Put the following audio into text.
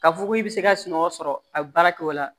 K'a fɔ ko i bɛ se ka sunɔgɔ sɔrɔ a bɛ baara kɛ o la